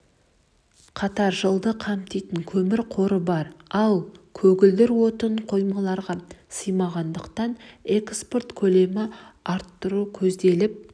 қатар жылды қамтитын көмір қоры бар ал көгілдір отын қоймаларға сыймағандықтан экспорт көлемін арттыру көзделіп